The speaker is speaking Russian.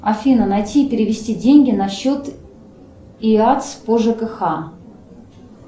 афина найти и перевести деньги на счет иатс по жкх